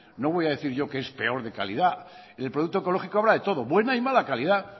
no voy a decir yo que es peor de calidad el producto ecológico habrá de todo buena y mala calidad